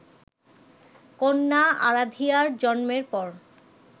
কন্যা আরাধিয়ার জন্মের পর